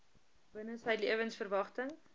binne sy lewensverwagting